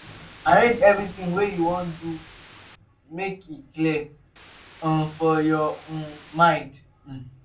arrange evritin wey you wan do mek e clear um for yur um mind um